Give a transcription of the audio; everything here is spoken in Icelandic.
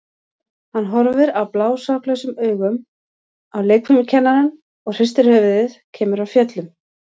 Hann horfir blásaklausum augum á leikfimikennarann og hristir höfuðið, kemur af fjöllum.